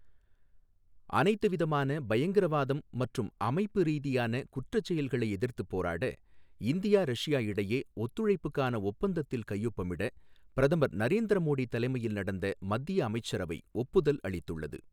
அனைத்து விதமான பயங்கரவாதம் மற்றும் அமைப்பு ரீதியான குற்றச்செயல்களை எதிர்த்துப் போராட, இந்தியா ரஷ்யா இடையே ஒத்துழைப்புக்கான ஒப்பந்தத்தில் கையொப்பமிட பிரதமர் நரேந்திர மோடி தலைமையில் நடந்த மத்திய அமைச்சரவை ஒப்புதல் அளித்துள்ளது.